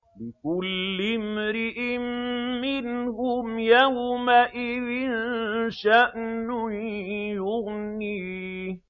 لِكُلِّ امْرِئٍ مِّنْهُمْ يَوْمَئِذٍ شَأْنٌ يُغْنِيهِ